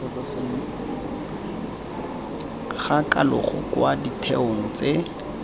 ga kalogo kwa ditheong tse